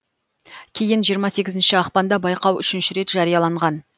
кейін жиырма сегізінші ақпанда байқау үшінші рет жарияланған